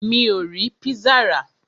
Mi ò rí pizza rà.